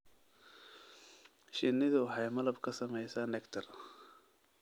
Shinnidu waxay malab ka samaysaa nectar.